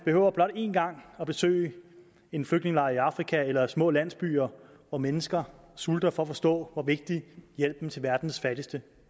blot én gang at besøge en flygtningelejr i afrika eller små landsbyer hvor mennesker sulter for at forstå hvor vigtig hjælpen til verdens fattigste